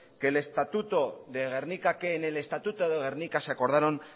que el estatuto de gernika que en el estatuto de gernika se acordaron